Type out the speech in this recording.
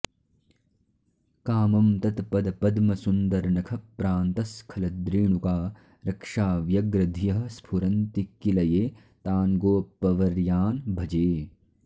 कामं तत्पदपद्मसुन्दरनखप्रान्तस्खलद्रेणुका रक्षाव्यग्रधियः स्फुरन्ति किल ये तान् गोपवर्यान् भजे